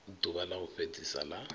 ḓuvha ḽa u fhedzisa la